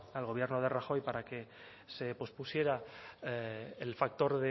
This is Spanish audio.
al gobierno de rajoy para que se pospusiera el factor